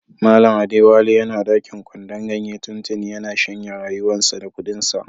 Mallam Adewale yana dakin kwandon ganye tuntuni, ya na shanye rayuwan sa da kudin sa.